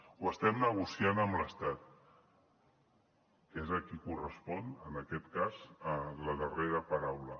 ho estem negociant amb l’estat que és a qui correspon en aquest cas la darrera paraula